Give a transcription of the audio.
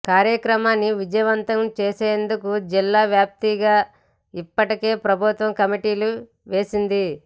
కార్యక్రమాన్ని విజయవంతం చేసేందుకు జిల్లాల వ్యాప్తంగా ఇప్పటికే ప్రభుత్వం కమిటీలు వేసింది